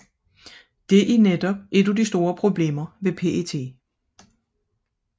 Dette er netop et af de store problemer ved PET